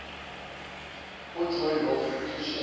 ujohn ross ucishe